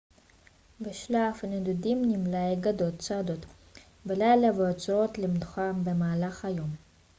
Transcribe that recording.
בשלב הנדודים נמלי גדוד צועדות בלילה ועוצרות למנוחה במהלך היום